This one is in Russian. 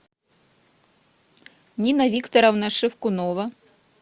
нина викторовна шевкунова